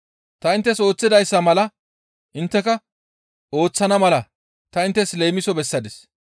Ta inttes ooththidayssa mala intteka ooththana mala ta inttes leemiso bessadis.